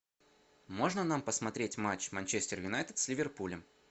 можно нам посмотреть матч манчестер юнайтед с ливерпулем